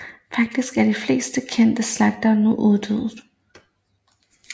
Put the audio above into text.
Faktisk er de fleste kendte slægter nu uddøde